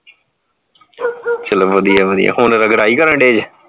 ਚਲ ਵਧੀਆ ਵਧੀਆ ਹੁਣ ਰਗੜਾਈ ਕਰਨ ਦੇਜ